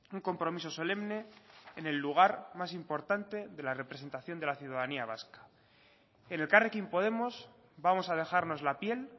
un compromiso solemne en el lugar más importante de la representación de la ciudadanía vasca en elkarrekin podemos vamos a dejarnos la piel